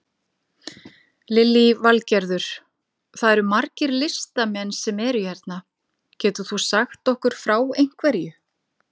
Lillý Valgerður: Það eru margir listamenn sem eru hérna, getur þú sagt okkur frá einhverju?